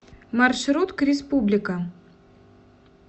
маршрут к республика